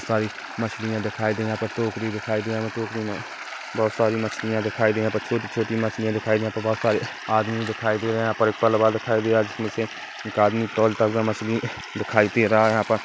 -- सारी मछलियाँ दिखाई दे यहाँ पर टोकरी दिखाई दे टोकरी में बहुत सारी मछलियां दिखाई दे छोटी-छोटी मछलियां दिखाई दे यहा पर बहुत सारी आदमी दिखाई दे यहा पर पलवा दिखाई दे जिसमें से एक आदमी तोलता हुआ मछली दिखाई दे रहा है यहाँ पर।